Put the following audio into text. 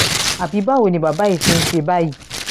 irú èwo nìyí ọlọ́run ilé tí a kò tí ì kọ́